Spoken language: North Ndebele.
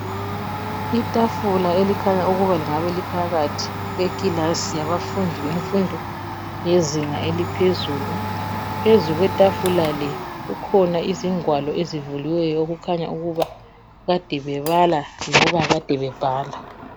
Itafula elikhanya ukuba lingabe liphakathi kwekilasi yabafundi bemfundi yezinga eliphezulu. Phezu kwetafula le kukhona izingwalo ezivuliweyo okukhanya ukuba kade bebala lokubala kade bebhala.